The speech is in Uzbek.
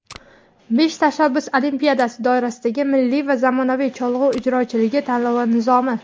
"Besh tashabbus olimpiadasi" doirasidagi "Milliy va zamonaviy cholg‘u ijrochiligi" tanlovi nizomi.